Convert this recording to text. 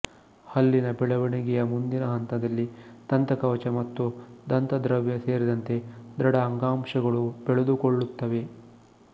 ಹಲ್ಲಿನ ಬೆಳವಣಿಗೆಯ ಮುಂದಿನ ಹಂತದಲ್ಲಿ ದಂತಕವಚ ಮತ್ತು ದಂತದ್ರವ್ಯ ಸೇರಿದಂತೆ ದೃಢ ಅಂಗಾಂಶಗಳು ಬೆಳೆದುಕೊಳ್ಳುತ್ತವೆ